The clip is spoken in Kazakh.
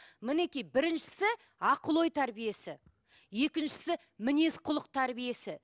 мінекей біріншісі ақыл ой тәрбиесі екіншісі мінез құлық тәрбиесі